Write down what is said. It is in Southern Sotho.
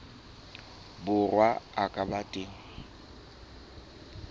borwa a ka ba teng